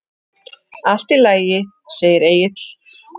Allt í lagi, segir Egill.